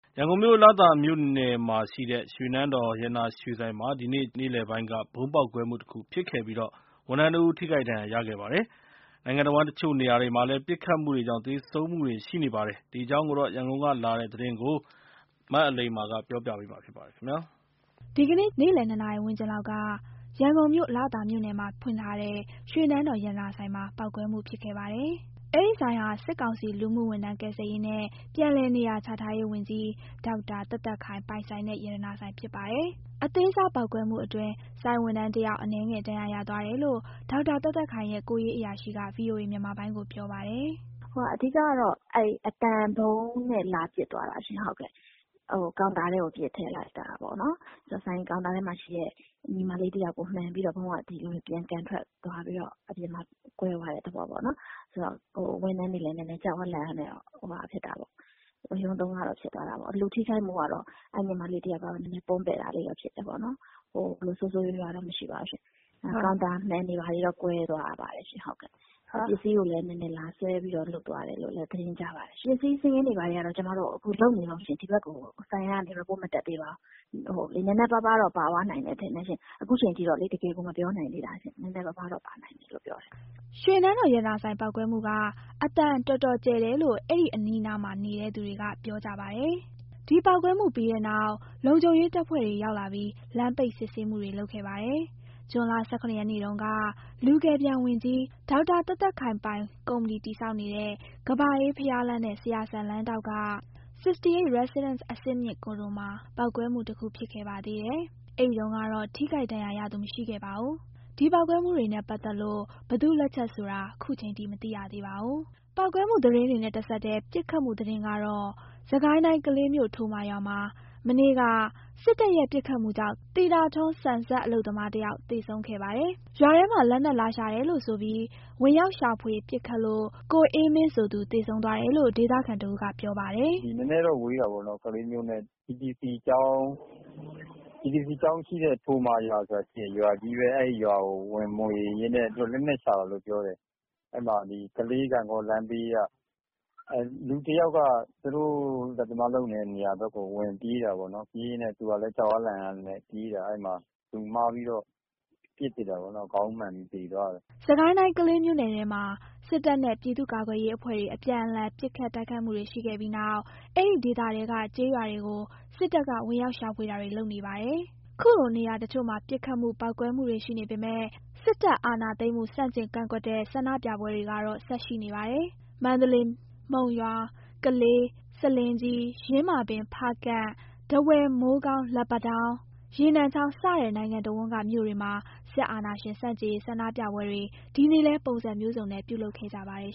ရန်ကုန်မြို့၊ လသာမြို့နယ်မှာရှိတဲ့ ရွှေနန်းတော်ရတနာရွှေဆိုင်မှာ ဒီနေ့ ဇူလိုင်လ ၈ ရက် နေ့လည်ပိုင်းက ဗုံးပေါက်ကွဲမှုတခုဖြစ်ခဲ့ပြီး ဝန်ထမ်းတဦး ထိခိုက်ဒဏ်ရာရခဲ့ပါတယ်။ နိုင်ငံတဝန်း တချို့နေရာတွေမှာလည်း ပစ်ခတ်မှုတွေကြောင့် သေဆုံးမှုတွေ ရှိနေပါတယ်။ ဒီအကြောင်း ရန်ကုန်ကလာတဲ့သတင်းကို အလိမ္မာက ပြောပြပါမယ်။ ဒီကနေ့ ဇူလိုင်လ ၈ ရက် နေ့လည် နှစ်နာရီဝန်းကျင်လောက်က ရန်ကုန်မြို့ လသာမြို့နယ်မှာဖွင့်ထားတဲ့ ရွှေနန်းတော် ရတနာဆိုင်မှာ ပေါက်ကွဲမှုဖြစ်ခဲ့ပါတယ်။ အဲဒီဆိုင်ဟာ စစ်ကောင်စီ လူမှုဝန်ထမ်း ကယ်ဆယ်ရေးနဲ့ ပြန်လည်နေရာချထားရေးဝန်ကြီး ဒေါက်တာသက်သက်ခိုင် ပိုင်ဆိုင်တဲ့ ရတနာဆိုင်ဖြစ်ပါတယ်။ အသေးစားပေါက်ကွဲမှုအတွင်း ဆိုင်ဝန်ထမ်းတယောက် အနည်းငယ် ဒဏ်ရာရသွားတယ်လို့ ဒေါက်တာသက်သက်ခိုင်ရဲ့ ကိုယ်ရေးအရာရှိက ဗွီအိုအေ မြန်မာပိုင်းကို ပြောပါတယ်။ “အဓိကကတော့ အသံဗုံးနဲ့ လာပစ်သွားတာရှင့်။ ကောင်တာထဲကို ပစ်ထည့်လိုက်တာပေါ့နော်၊ ကောင်တာထဲမှာရှိတဲ့ ညီမလေးတယောက်ကို မှန်ပြီးတော့ ဗုံးက ပြန်ကန်ထွက်ပြီးတော့ ကွဲသွားတဲ့ သဘောပေါ့နော်။ ဖြစ်တော့ ဝန်ထမ်းတွေကလည်း ကြောက်အားလန့်အားနဲ့ နည်းနည်း ဝရုန်းသုန်းကားတော့ ဖြစ်သွားတာပေါ့။ လူထိခိုက်မှုကတော့ အဲ့ညီမလေးကတော့ နည်းနည်း ပွန်းပဲ့တာလေးတော့ ဖြစ်တယ်ပေါ့နှော်။ ဆိုးဆိုးရွားရွားတော့ မရှိပါဘူးရှင့်။ ကောင်တာမှန်တွေ ဘာတွေတော့ ကွဲသွားပါတယ်ရှင့်။ ပစ္စည်းကိုလည်း နည်းနည်း လာဆွဲသွားတယ်လို့လည်း သတင်းကြားပါတယ်ရှင့်။ ပစ္စည်းစာရင်းတွေကတော့ ကျမတို့လုပ်နေတုန်းရှင့် ဒီဘက်ကို စာရင်းမတက်သေးပါဘူး။ နည်းနည်းပါးပါးတော့ ပါသွားနိုင်တယ်ထင်တယ်ရှင့် ခုအချိန်ထိတော့ တကယ်ကို မပြောနိုင်သေးတာရှင့်။” ရွှေနန်းတော် ရတနာဆိုင် ပေါက်ကွဲမှုက အသံတော်တော်ကျယ်တယ်လို့ အဲ့ဒီအနီးအနားမှာ နေတဲ့သူတွေက ပြောကြပါတယ်။ ဒီပေါက်ကွဲမှု ပြီးတဲ့နောက် လုံခြုံရေးတပ်ဖွဲ့ဝင်တွေ ရောက်လာပြီး လမ်းပိတ် စစ်ဆေးမှုတွေ လုပ်ခဲ့ပါတယ်။ ဇွန်လ ၁၇ ရက်နေ့တုန်းကလည်း လူကယ်ပြန်ဝန်ကြီး ဒေါ်သက်သက်ခိုင်ပိုင်ကုမ္ပဏီ တည်ဆောက်နေတဲ့ ကမ္ဘာအေးဘုရားလမ်းနဲ့ ဆရာစံလမ်းထောင့်က 68 Residence အဆင့်မြင့်ကွန်ဒိုမှာ ပေါက်ကွဲမှုတခု ဖြစ်ခဲ့ပါသေးတယ်။ အဲဒီတုန်းကတော့ ထိခိုက်ဒဏ်ရာရသူ မရှိခဲ့ပါဘူး။ ဒီပေါက်ကွဲမှုတွေနဲ့ပတ်သက်လို့ ဘယ်သူ့လက်ချက်ဆိုတာ ခုချိန်ထိ မသိရသေးပါဘူး။ ပေါက်ကွဲမှုသတင်းတွေနဲ့တဆက်ထဲ ပစ်ခတ်မှုသတင်းတော့ စစ်ကိုင်းတိုင်း ကလေးမြို့ ထိုမာရွာမှာ မနေ့က စစ်တပ်ရဲ့ ပစ်ခတ်မှုကြောင့် သီတာထွန်း ဆန်စက် အလုပ်သမားတယောက် သေဆုံးခဲ့ပါတယ်။ ရွာထဲမှာ လက်နက်လာရှာတယ်လို့ဆိုပြီး ဝင်ရောက်ရှာဖွေ ပစ်ခတ်လို့ ကိုအေးမင်းဆိုသူ သေဆုံးသွားတယ်လို့ ဒေသခံတဦးက ပြောပြပါတယ်။ “ကလေးမြို့နဲ့ နဲနဲတော့ ဝေးတာပေါ့၊ TTC ကျောင်းရှိတဲ့ ထိုမာရွာဆိုတာရှိတယ်၊ ရွာကြီးပဲ။ အဲ့ဒီရွာကို ဝင်မွှေရင်းနဲ့ သူတို့က လက်နက်ရှာတာလို့ ပြောတယ်။ အဲ့မှာ ကလေး ဂန့်ဂေါလမ်းဘေးက၊ အဲ့မှာ လူတယာက်က သူတို့လက်သမားလုပ်နေတဲ့ နေရာနားကို ဝင်ပြေးတာပေါ့နော်၊ သူကလည်း ကြောက်အားလန့်အားနဲ့ ပြေးတာ။ အဲ့မှာ လူမှားပြီး ပစ်ထည့်လိုက်တာ ခေါင်းမှန်ပြီး သေသွားတယ်။” စစ်ကိုင်းတိုင်း ကလေးမြို့နယ်ထဲမှာ စစ်တပ်နဲ့ ပြည်သူ့ကာကွယ်ရေးအဖွဲ့တွေ အပြန်အလှန် ပစ်ခတ် တိုက်ခိုက်မှုတွေရှိခဲ့ပြီးနောက် အဲဒီဒေသထဲက ကျေးရွာတွေကို စစ်တပ်က ဝင်ရောက်ရှာဖွေတာတွေ လုပ်နေတာပါ။ ခုလိုနေရာတချို့မှာ ပစ်ခတ်မှု ပေါက်ကွဲမှုတွေ ရှိနေပေမယ့် စစ်တပ်အာဏာသိမ်းမှု ဆန့်ကျင် ကန့်ကွက်တဲ့ ဆန္ဒပြပွဲတွေကတော့ ဆက်ရှိနေပါတယ်။ မန္တလေး၊ မုံရွာ၊ ကလေး၊ ဆားလင်းကြီး၊ ယင်းမာပင်၊ ဖားကန့်၊ ထားဝယ်၊ မိုးကောင်း၊ လက်ပံတောင်း၊ ရေနံချောင်း စတဲ့ နိုင်ငံတဝန်းက မြို့တွေမှာ စစ်အာဏာရှင် ဆန့်ကျင်ရေး ဆန္ဒပြပွဲတွေ ဒီနေ့လည်း ပုံစံမျိုးစုံနဲ့ ပြုလုပ်ခဲ့ကြပါတယ်